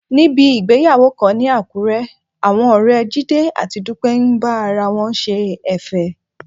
Níbi ìgbéyàwó kan ní Àkúré, àwọn ọ̀rẹ́ Jídé àti Dúpẹ́ ń bá ara wọn ṣe ẹ̀fẹ̀.